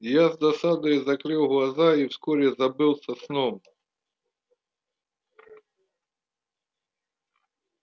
я с досадою закрыл глаза и вскоре забылся сном